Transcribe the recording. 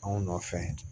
Anw nɔfɛ